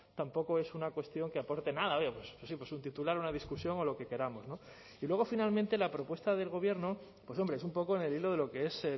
tampoco es una cuestión que aporte nada oye pues sí pues un titular una discusión o lo que queramos no y luego finalmente la propuesta del gobierno pues hombre es un poco en el hilo de lo que es